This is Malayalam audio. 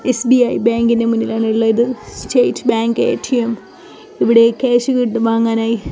എസ്ബിഐ ബാങ്കിന്റെ മുന്നിലാണ് ഉള്ളത് സ്റ്റേറ്റ് ബാങ്ക് എടിഎം ഇവിടെ ക്യാഷ് വാങ്ങാനായി--